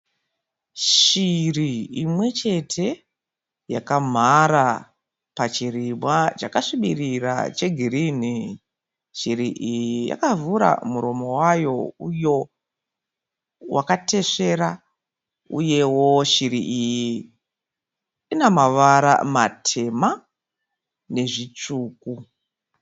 Shiri imwechete yakamhara pachirimwa chakasvibirira chegirini. Shiri iyi yakavhura muromo wayo mutema wakatesvera uyewo shiri iyi ine mavara matema nezvitsvuku.